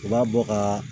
U b'a bɔ ka